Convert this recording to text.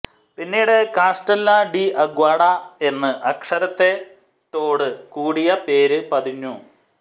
പിന്നീട് കാസ്റ്റെല്ല ഡി അഗ്വാഡ എന്ന് അക്ഷരത്തെറ്റോട് കൂടിയ പേര് പതിഞ്ഞു